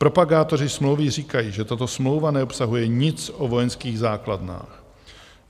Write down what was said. Propagátoři smlouvy říkají, že tato smlouva neobsahuje nic o vojenských základnách.